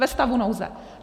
Ve stavu nouze.